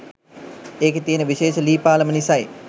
ඒකෙ තියෙන විශේෂ ලී පාලම නිසයි.